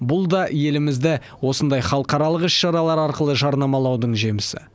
бұл да елімізді осындай халықаралық іс шаралар арқылы жарнамалаудың жемісі